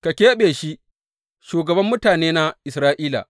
Ka keɓe shi shugaban mutanena Isra’ila.